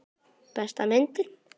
Besta myndin?